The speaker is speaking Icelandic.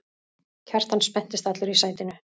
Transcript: Kjartan spenntist allur í sætinu.